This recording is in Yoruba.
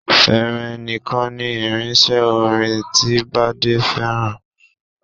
Fèrè nìkan ni irinṣẹ́ orin ti Bádé fẹ́ràn